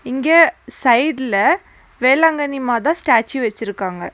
இங்க சைட்ல வேளாங்கண்ணி மாதா ஸ்டாச்சு வெச்சிருக்காங்க.